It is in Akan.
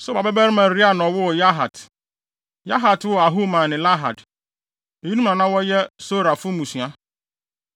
Sobal babarima Reaia na ɔwoo Yahat. Yahat woo Ahumai ne Lahad. Eyinom na na wɔyɛ Sorafo mmusua.